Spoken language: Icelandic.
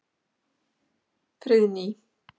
Friðný